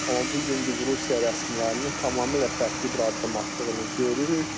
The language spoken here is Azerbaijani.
Amma bu gün biz Rusiya rəsmilərinin tamamilə fərqli bir addım atdığını görürük.